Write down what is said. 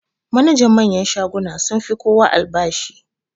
Manajan manyan shaguna sun fi kowa albashi.